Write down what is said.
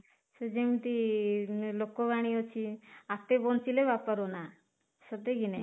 ସେ ଯେମିତି ଲୋକବାଣୀ ଅଛି ଆପେ ବଞ୍ଚିଲେ ବାପାର ନାଁ ସତେ କି ନାଇଁ